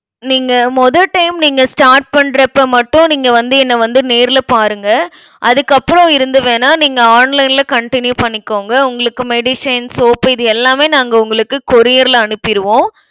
நீங்க மொத time நீங்க start பண்றப்ப மட்டும் நீங்க வந்து என்னை வந்து நேர்ல பாருங்க. அதுக்கப்புறம் இருந்து வேணா நீங்க online ல continue பண்ணிக்கோங்க. உங்களுக்கு medicine, soap இது எல்லாமே நாங்க உங்களுக்கு courier ல அனுப்பிருவோம்